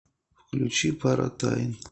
включи паратайн